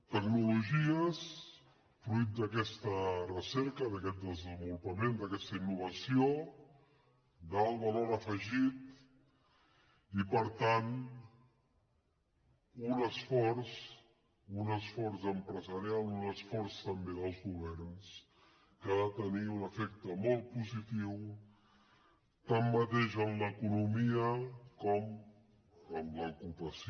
tecnologies fruit d’aquesta recerca d’aquest desenvolupament d’aquesta innovació d’alt valor afegit i per tant un esforç empresarial un esforç també dels governs que ha de tenir un efecte molt positiu tant en l’economia com en l’ocupació